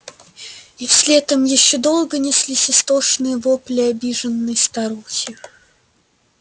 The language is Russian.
и вслед им ещё долго неслись истошные вопли обиженной старухи